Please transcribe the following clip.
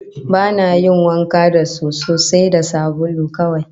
Ba na yin wanka da soso, sai sabulu kawai